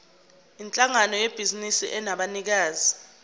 yinhlangano yebhizinisi enabanikazi